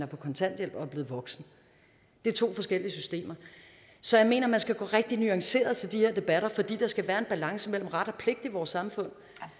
på kontanthjælp og er blevet voksen det er to forskellige systemer så jeg mener man skal gå rigtig nuanceret til de her debatter fordi der skal være en balance mellem ret og pligt i vores samfund